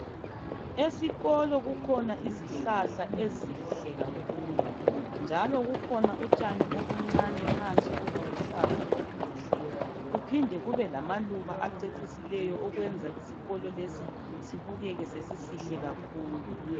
Esikolo kukhona izihlahla ezinhle kakhulu njalo kukhona utshani obuncane phansi obuluhlaza obuhle kuphinde kube lamaluba acecisileyo okwenza isikolo lesi sibukeke sesisihle kakhulu.